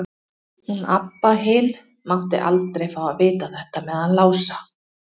Hún Abba hin mátti aldrei fá að vita þetta með hann Lása.